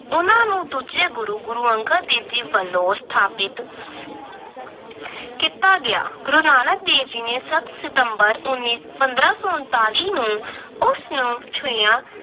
ਉਹਨਾਂ ਨੂੰ ਦੂਜੇ ਗੁਰੂ ਗੁਰੂ ਅੰਗਦ ਦੇਵ ਜੀ ਵੱਜੋਂ ਸਥਾਪਤ ਕੀਤਾ ਗਿਆ। ਗੁਰੂ ਨਾਨਕ ਦੇਵ ਜੀ ਨੇ ਸੱਤ ਸਤੰਬਰ, ਉਨੀ ਅਹ ਪੰਦਰਾਂ ਸੌ ਪੰਤਾਲੀ ਨੂੰ ਉਸਨੂੰ ਛੁਹਿਆ।